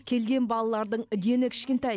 келген балалардың дені кішкентай